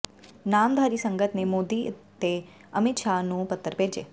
ਨਾਮਧਾਰੀ ਸੰਗਤ ਨੇ ਮੋਦੀ ਤੇ ਅਮਿਤ ਸ਼ਾਹ ਨੂੰ ਪੱਤਰ ਭੇਜੇ